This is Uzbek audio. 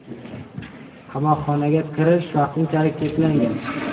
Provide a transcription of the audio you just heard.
Qamoqxonaga kirish vaqtinchalik cheklangan.